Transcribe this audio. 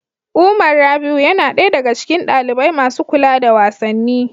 Umar Rabi'u yana ɗaya daga cikin ɗalibai masu kula da wasanni.